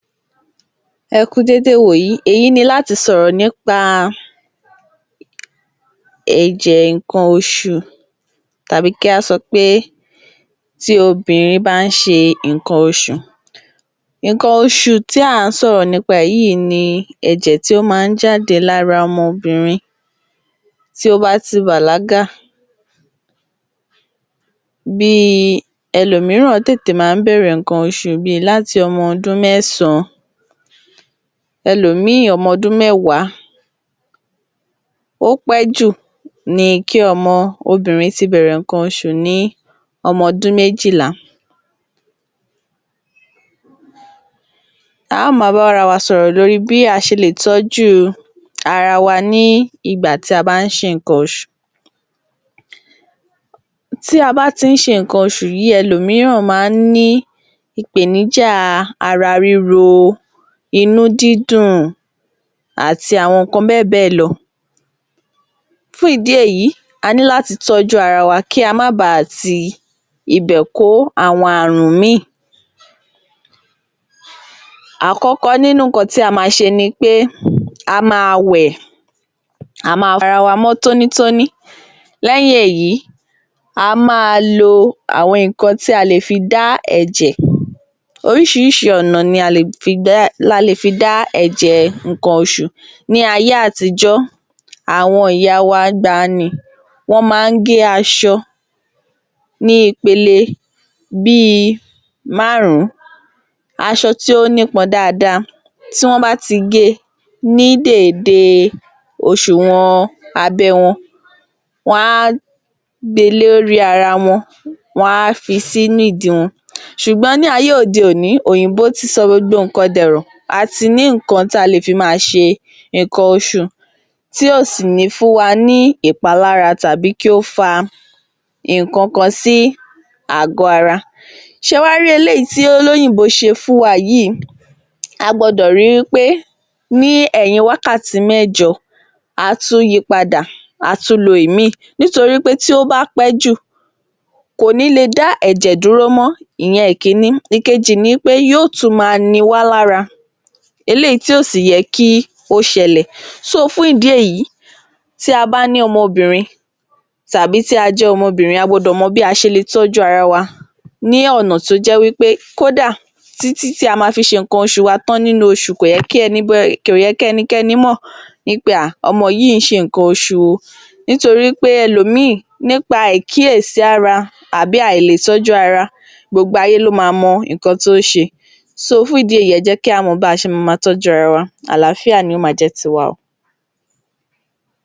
Ẹ kú dédé ìwòyí, èyí ni láti sọ̀rọ̀ nípa ẹ̀jẹ̀ nǹkan oṣù tàbí kí á sọ pé tí obìnrin bá ń ṣe nǹkan oṣù. Nǹkan oṣù tí à ń sọ̀rọ̀ nípa rẹ̀ yìí ni ẹ̀jẹ̀ tí ó máa ń jáde lára ọmọbìnrin tí ó bá ti bàlágà. Ẹlòmíràn tètè máa ń bẹ̀rẹ̀ nǹkan oṣù bí i ọmọdún mẹ́sàn-án, ẹlòmíì ọmọdún mẹ́wàá, ó pẹ́ jù ni kí ọmọ obìnrin ti bèrẹ̀ nǹkan oṣù ní ọmọdún méjìlá. A máa bára wa sọ̀rọ̀ lórí bí a ṣe lè tọ́jú ara wa ní ìgbà tí a bá ń ṣe nǹkan oṣù, tí a bá ti ń ṣe nǹkan oṣù yìí, ẹlòmíràn máa ń ní ìpèníjà ara ríro, inú dídùn, àti àwọn nǹkan bẹ́ẹ̀ bẹ́ẹ̀ lọ fún ìdí èyí a ní láti tọ́jú ara wa, kí a máa ba ti ibè kó àwọn àrùn míì. Àkọ́kọ́ nínú nǹkan tí a ma ṣe ni pé a máa wẹ̀, a máa wẹ ara wa mọ́ tónítóní, lẹ́yìn èyí a máa lo àwọn nǹkan tí a lè fi dá ẹ̀jẹ̀, oríṣiríṣi ọ̀nà ni a lè fi dá ẹ̀jẹ̀ nǹkan oṣù, ní ayé àtijọ́, àwọn ìyá wa ìgbaanì wọ́n máa ń gé aṣọ ní ipele bí i márùn-ún, aṣọ tí ó nípọn dáadáa, tí wọ́n bá ti ge ní dééde òṣùwọ̀n abẹ́ wọn, wọ́n á gbe lórí ara wọn, wọ́n á fi sí ìdí wọn, ṣùgbọ́n ní ayé òde òní, òyìnbó ti sọ gbogbo nǹkan dẹ̀rọ, a ti ní nǹkan tí a lè fi máa ṣe nǹkan oṣù tí ò sì ní fún wa ní ìpalára tàbí kí ó fa nǹkan kan sí àgọ́ ara. Ṣé ẹ wá rí eléyìí tí olóyìnbó ṣe fún wa yìí a gbọ́dọ̀ ri wí pé ní ẹ̀yìn wákàtí mẹ́jọ a tún yi padà, a tún lo ìmíì, nítorí pé tí ó bá pẹ́ jù kò ní le dá ẹ̀jẹ̀ dúró mọ́, ìyẹn ìkíní, ìkejì ni pé yóò tun máa ni wá lára eléyìí tí ò sì yẹ kí ó ṣẹlẹ̀, fún ìdí èyí tí a bá ní ọmọ obìnrin, tàbí tí a jẹ́ ọmọbìnrin a gbọ́dọ̀ mọ bí a ṣe lè tọ́jú ara wa ní ọnà tó jẹ́ wí pé kódà títí tí a máa fi ṣe nǹkan oṣù wa tán nínú oṣù, kò yẹ kí ẹnikẹ́ni mọ̀ wí pé ọmọ yìí ṣe nǹkan oṣù o, nítorí pé ẹlòmíì ní pa àìkíyèsára àbí àìlètọ́jú ara, gbogbo ayé ló ma mọ ohun tó ń ṣe fún ìdí èyí ẹ jẹ́ kí á mọ bí a se máa máa tọ́jú ara wa. Àááfíà ni yóò máa jẹ́ ti wa o.